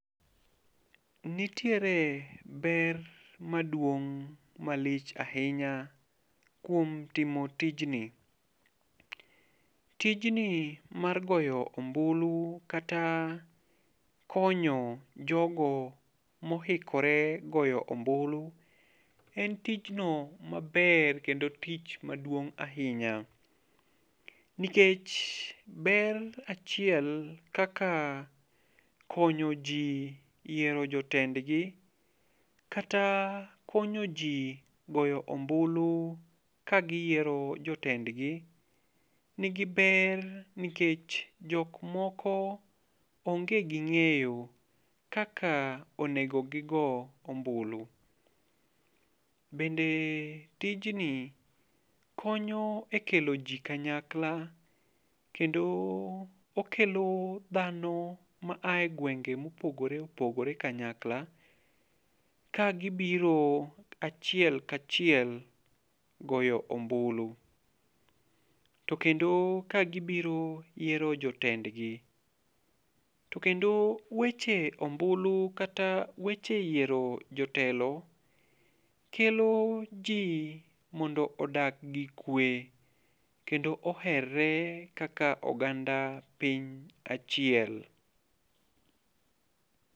Nitiere ber maduong' malich ahinya kuom timo tijni. Tijni mar goyo ombulu kata konyo jogo mohikore goyo ombulu, en tijno maber kendo tich maduong' ahinya. Nikech ber achiel kaka konyo ji yiero jotendgi, kata konyo ji goyo ombulu ka giyiero jotendgi nigi ber nikech jok moko onge gi ng'eyo kaka onego gigo ombulu. Bende tijni konyo e kelo ji kanyakla, kendo okelo dhano ma ae gwengne ma opogore opogore kanyakla, kagibiro achiel ka achiel goyo ombulu. To kendo ka gibiro yiero jotendgi. To kendo weche ombulu kata weche yiero jotelo kelo ji mondo odag gi kwe. Kendo oherore kaka oganda piny achiel.